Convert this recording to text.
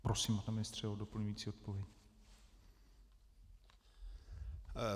Prosím, pane ministře, o doplňující odpověď.